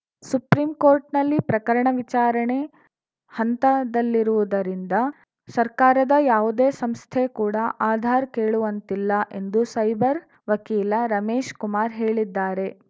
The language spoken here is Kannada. ಸುಪ್ರೀಂಕೋರ್ಟಿನಲ್ಲಿ ಪ್ರಕರಣ ವಿಚಾರಣೆ ಹಂತದಲ್ಲಿರುವುದರಿಂದ ಸರ್ಕಾರದ ಯಾವುದೇ ಸಂಸ್ಥೆ ಕೂಡ ಆಧಾರ್‌ ಕೇಳುವಂತಿಲ್ಲ ಎಂದು ಸೈಬರ್‌ ವಕೀಲ ರಮೇಶ್‌ ಕುಮಾರ್‌ ಹೇಳಿದ್ದಾರೆ